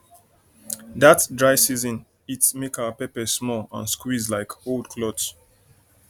that dry season heat make our pepper small and squeeze like old cloth